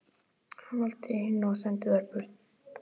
Hann valdi hina og sendi þær burt.